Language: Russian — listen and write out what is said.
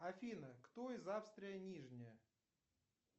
афина кто из австрии нижняя